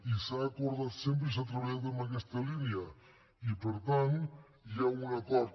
i s’ha acordat sempre i s’ha treballat en aquesta línia i per tant hi ha un acord